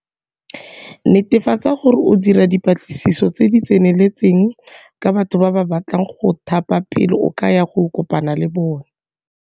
Netefatsa gore o dira dipatlisiso tse di tseneletseng ka batho ba ba batlang go go thapa pele o ka ya go kopana le bona.